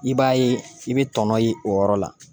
I b'a ye i bɛ tɔnɔ ye o yɔrɔ la